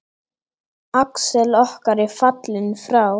Axel okkar er fallinn frá.